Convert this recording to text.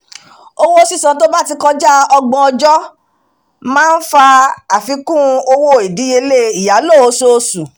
owó sísan to bá ti kọjá ọgbọ̀n ọjọ́ máa ń fà àfikún owó ìdíyelé ìyálò oṣooṣù